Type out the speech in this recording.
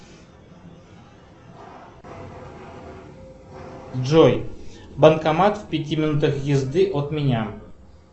джой банкомат в пяти минутах езды от меня